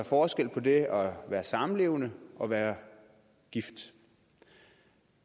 forskel på det at være samlevende og at være gift